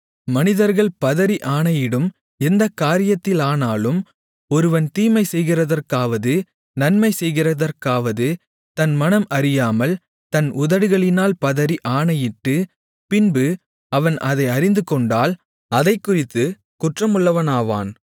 மனிதர்கள் பதறி ஆணையிடும் எந்தக் காரியத்திலானாலும் ஒருவன் தீமை செய்கிறதற்காவது நன்மை செய்கிறதற்காவது தன் மனம் அறியாமல் தன் உதடுகளினால் பதறி ஆணையிட்டு பின்பு அவன் அதை அறிந்துகொண்டால் அதைக்குறித்துக் குற்றமுள்ளவனாவான்